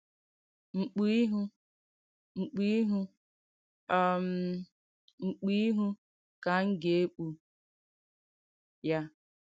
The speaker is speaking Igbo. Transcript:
“MKPÙ IHU, MKPÙ IHU, um MKPÙ IHU KA M GA-ÈKPÙ YA.”